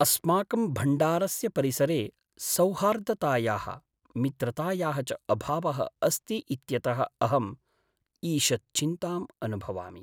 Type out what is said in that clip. अस्माकं भण्डारस्य परिसरे सौहार्दतायाः, मित्रतायाः च अभावः अस्ति इत्यतः अहम् ईषत् चिन्ताम् अनुभवामि।